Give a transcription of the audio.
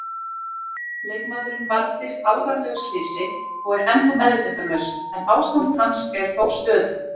Leikmaðurinn varð fyrir alvarlegu slysi og er ennþá meðvitundarlaus en ástand hans er þó stöðugt.